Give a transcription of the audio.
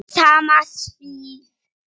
Sama svið.